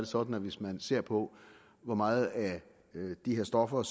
sådan at hvis man ser på hvor meget af de her stoffer